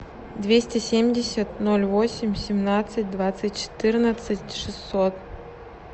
двести семьдесят ноль восемь семнадцать двадцать четырнадцать шестьсот